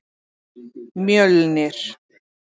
Mjölnir